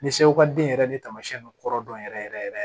Ni sewaden yɛrɛ ni taamasiyɛn don kɔrɔ dɔn yɛrɛ yɛrɛ yɛrɛ